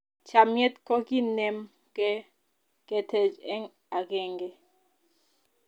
chamiet ko ki nem ge ketej eng' akenge